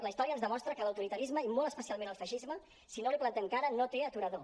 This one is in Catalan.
la història ens demostra que l’autoritarisme i molt especialment el feixisme si no li plantem cara no té aturador